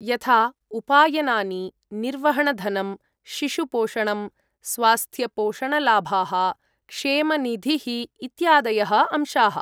यथा उपायनानि, निर्वहणधनम्, शिशुपोषणम्, स्वास्थ्यपोषणलाभाः, क्षेमनिधिः इत्यादयः अंशाः।